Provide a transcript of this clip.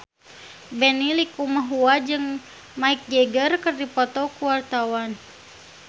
Benny Likumahua jeung Mick Jagger keur dipoto ku wartawan